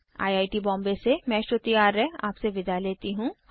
I I T Bombay से मैं श्रुति आर्य आपसे विदा लेती हूँ